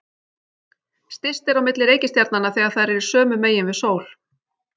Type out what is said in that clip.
Styst er á milli reikistjarnanna þegar þær eru sömu megin við sól.